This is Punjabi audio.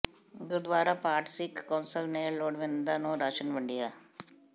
ਗੁਰਦੁਆਰਾ ਭਾਟ ਸਿੱਖ ਕੌਂਸਲ ਨੇ ਲੋੜਵੰਦਾਂ ਨੂੰ ਰਾਸ਼ਨ ਵੰਡਿਆ